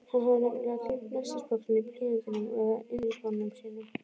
Hann hafi nefnilega gleymt nestisboxinu, blýantinum eða inniskónum sínum.